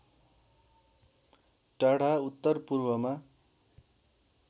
टाढा उत्तर पूर्वमा